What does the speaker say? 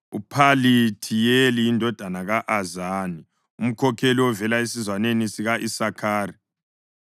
uPhalithiyeli indodana ka-Azani, umkhokheli ovela esizwaneni sika-Isakhari,